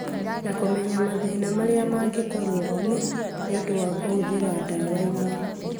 na kũmenya mathĩna marĩa mangĩkorũo kuo nĩ ũndũ wa kũhũthĩra ndawa imwe.